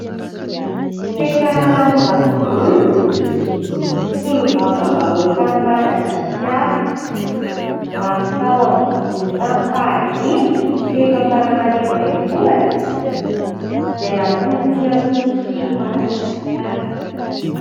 Fetra Ralambozafimbololona, solombavam-bahoakan'i Madagasikara, lany tao amin'ny boriboritany fahadimy teto Antananarivo renivohitra, izay natolotry ny antoko tiako i Madagasikara.